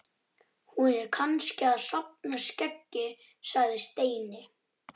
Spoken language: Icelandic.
Hún er kannski að safna skeggi sagði Steini.